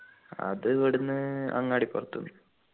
അത് ഇവിടുന്ന് അങ്ങാടിപ്പുറത്തു നിന്ന്